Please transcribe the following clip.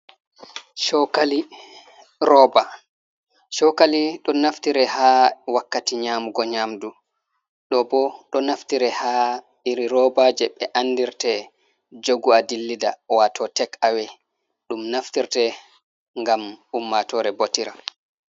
Shokali roba, shokali ɗo naftire ha wakkati nyamugo nyamdu, ɗo bo naftire ha iri rooba je be andirte be jogu a dillida wato tek awe, ɗum naftirte gam ummatore botira.